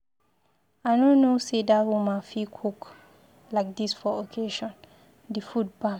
I no know say that woman fit cook like dis for occasion, the food bam.